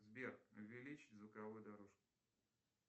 сбер увеличить звуковую дорожку